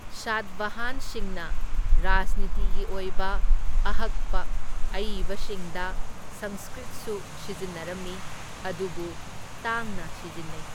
ꯁꯥꯠꯕꯍꯥꯟꯁꯤꯡꯅ ꯔꯥꯖꯅꯤꯇꯤꯒꯤ ꯑꯣꯏꯕ ꯑꯍꯛꯄ ꯑꯏꯕꯁꯤꯡꯗ ꯁꯪꯁꯀ꯭ꯔꯤꯠꯁꯨ ꯁꯤꯖꯤꯟꯅꯔꯝꯃꯤ, ꯑꯗꯨꯕꯨ ꯇꯥꯡꯅ ꯁꯤꯖꯤꯟꯅꯩ꯫